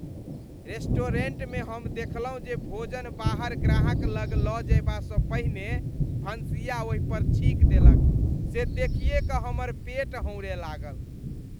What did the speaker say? Restaurant मे हम देखलहुँ जे भोजन बाहर ग्राहक लग लऽ जयबासँ पहिने भनसिया ओहिपर छीक देलक, से देखिए कऽ हमर पेट हौंरय लागल ।